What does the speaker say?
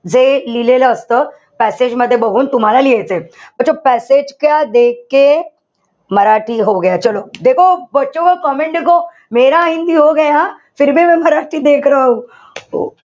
जे लिहिलेल असत. Passage मध्ये बघून तुम्हाला लिहायचंय. अच्छा Passage